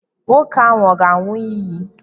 Nwoke ahụ ọ̀ ga-aṅụ iyi?